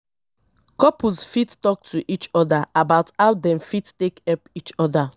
couples fit talk to each oda about how dem fit take help each oda